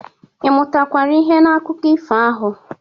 Ị mụtakwara ihe n'akụkọ ifo ahụ?